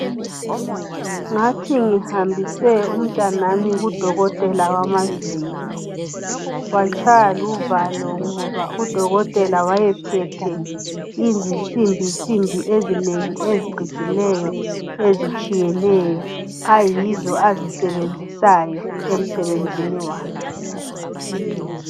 ngathi ngihambise umntanami ku dokotela wamazinyo watshaywa luvalo ngoba udokotela wayephethe izinsimbinsimbi ezandleni ezicijileyo ezitshiyeneyo ayizo azisebenzisayo emsebenzini wakhe